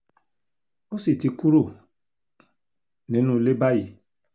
ó sì ti kúrò nínú ilé báyìí